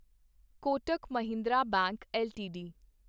Kotak Mahindra bank LTD